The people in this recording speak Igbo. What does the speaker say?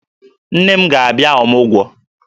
Nne m ga-abịa ọmụgwọ